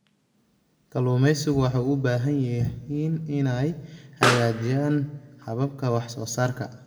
Kalluumaysigu waxay u baahan yihiin inay hagaajiyaan hababka wax soo saarka.